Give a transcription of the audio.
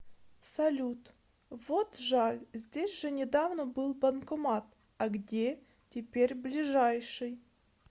салют вот жаль здесь же недавно был банкомат а где теперь ближайший